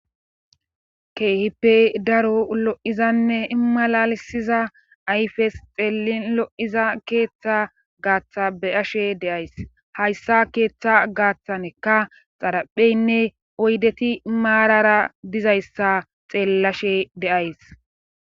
keehippe daro lo7izanne imalalisiza ayfes xeellin lo7iza keeththa gaaththa beyashe deays hayssa keeththa gaaththanekka xarapheynne oydeti maarara dizayssa xeellashe deays